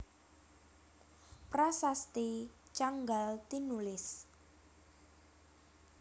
Prasasti Canggal tinulis